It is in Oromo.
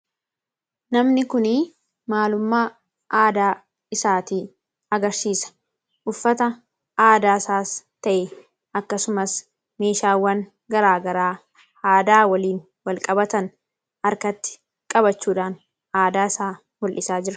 Namni kun maalummaa aadaa isaatii agarsiisa. Uffata aadaa isaas ta'e akkasumas meeshaawwan garaagaraa aadaa waliin wal qabatan harkatti qabachuudhaan aadaasaa mul'isaa jira.